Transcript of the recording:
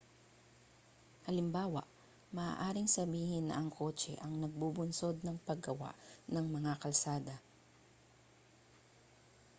halimbawa maaaring sabihin na ang kotse ang nagbubunsod ng paggawa ng mga kalsada